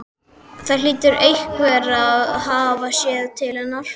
Það hlýtur einhver að hafa séð til hennar.